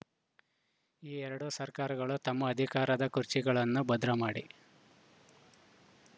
ಈ ಎರಡು ಸರ್ಕಾರಗಳು ತಮ್ಮ ಅಧಿಕಾರದ ಖುರ್ಚಿಗಳನ್ನು ಭದ್ರ ಮಾಡಿ